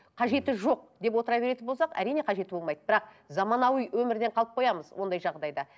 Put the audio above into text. қажеті жоқ деп отыра беретін болсақ әрине қажеті болмайды бірақ заманауи өмірден қалып қоямыз ондай жағдайда